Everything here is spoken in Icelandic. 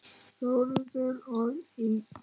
Þórður og Ingunn.